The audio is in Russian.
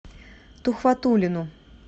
тухватуллину